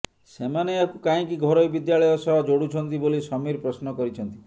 ସେମାନେ ଏହାକୁ କାହିଁକି ଘରୋଇ ବିଦ୍ୟାଳୟ ସହ ଯୋଡୁଛନ୍ତି ବୋଲି ସମୀର ପ୍ରଶ୍ନ କରିଛନ୍ତି